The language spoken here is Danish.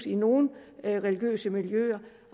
i nogle religiøse miljøer